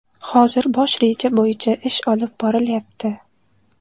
Hozir bosh reja bo‘yicha ish olib borilyapti.